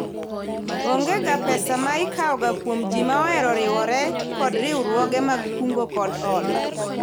Onge ga pesa ma ikao ga kuom jii ma ohero riwoge kod riwruoge mag kungo kod hola